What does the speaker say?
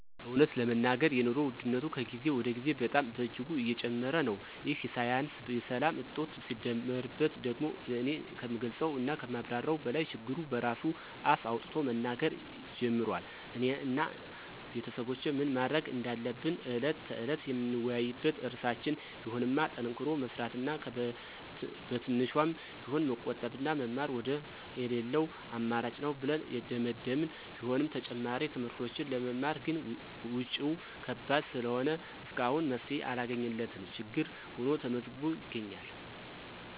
እውነት ለመናገር የኑሮ ውድነቱ ከጊዜ ወደ ጊዜ በጣም በእጅጉ እየጨመረ ነው፤ ይህ ሳያንስ የሰላም እጦቱ ሲደመርበት ደግሞ እኔ ከምገልፀው እና ከማብራራው በላይ ችግሩ በራሱ አፍ አውጥቶ መናገር ጀምሯል። እኔ እና ቤተሰቦቼ ምን ማድረግ እንዳለብን ዕለት ተዕለት የምንወያይበት ርዕሳችን ቢሆንማ ጠንክሮ መስራት እና በትንሿም ቢሆን መቆጠብና መማር ወደር የለለው አማራጭ ነው ብለን የደመደመን ቢሆንም ተጨማሪ ትምህርቶችን ለመማር ግን ወጭው ከባድ ስለሆነ እስካሁን መፍትሔ ያላገኘንለት ችግር ሁኖ ተመዝግቦ ይገኛል።